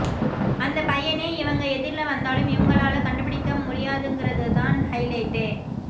அந்தப் பையனே இவங்க எதிர்ல வந்தாலும் இவங்களால கண்டுபிடிக்க முடியாதுங்கிறதுதான் ஹைலைட்டே